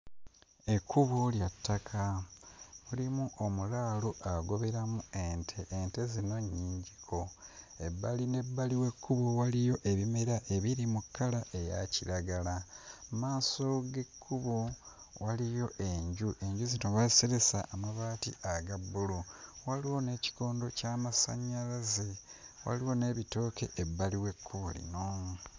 Ekkubo lya ttaka, mulimu omulaalo agoberamu ente, ente zino nnyingiko. Ebbali n'ebbali w'ekkubo waliyo ebimera ebiri mu kkala eya kiragala, mu maaso g'ekkubo waliyo enju, enju zino baaziseresa amabaati aga bbulu, waliwo n'ekikondo ky'amasannyalaze, waliwo n'ebitooke ebbali w'ekkubo lino.